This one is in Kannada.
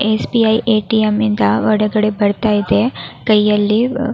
ಎಸ್ ಬಿ ಐ ಎಟಿಎಂ ನಿಂದ ಹೊರಗಡೆ ಬರ್ತಾ ಇದೆ. ಕೈ ಅಲ್ಲಿ ಅಹ್ --